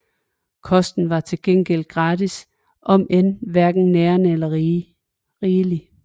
Kosten var til gengæld gratis om end hverken nærende eller rigelig